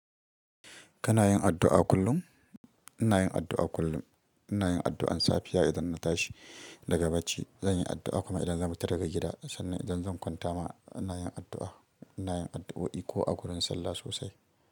Kana yin addu'a kullum? Ina yin addu'a kullum. Ina yin addu'an safiya idan na tashi daga bacci, zan yi addu'a kuma idan zan fita daga gida sannan idan zan kwanta ma ina yin addu'a. Ina yin addu'o'i ko a wurin sallah sosai.